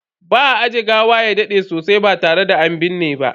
Ba a ajiye gawa ya dade sosai ba tare da an binne ba.